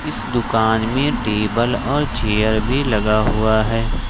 इस दुकान में टेबल और चेयर भी लगा हुआ है ।